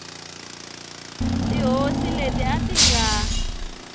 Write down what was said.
tihosi leti a ti nga